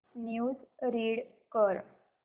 news read कर